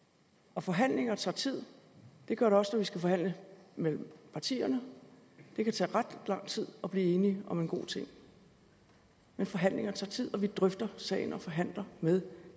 og forhandlinger tager tid det gør det også når vi skal forhandle med partierne det kan tage ret lang tid at blive enige om en god ting men forhandlinger tager tid og vi drøfter sagen og forhandler med